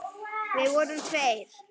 Við vorum tveir.